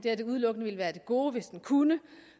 at det udelukkende ville være af det gode hvis den kunne